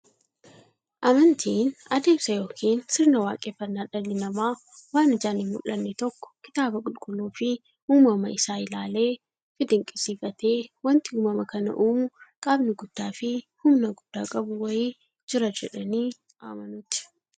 Amantiin adeemsa yookiin sirna waaqeffannaa dhalli namaa waan ijaan hinmullanne tokko kitaaba qulqulluufi uumama isaa isaa ilaaleefi dinqisiifatee, wanti uumama kana uumu qaamni guddaafi humna guddaa qabu wa'ii jira jedhanii amanuuti.